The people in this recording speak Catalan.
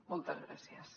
moltes gràcies